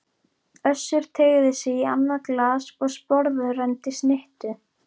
Össur teygði sig í annað glas og sporðrenndi snittu.